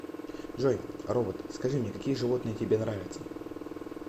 джой робот скажи мне какие животные тебе нравятся